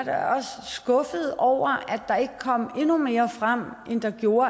er skuffet over at der ikke kom endnu mere frem end der gjorde